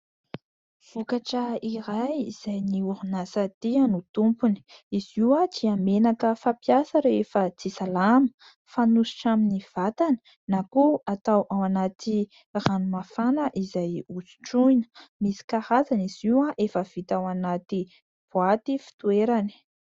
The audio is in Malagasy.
Vokatra iray izay ny orinasa "Tea" no tompony. Izy io dia menaka fampiasa rehefa tsy salama fanosotra amin'ny vatana na koa atao ao anaty ranomafana izay hosotroina. Misy karazany izay efa vita ao anaty boaty fitoerany.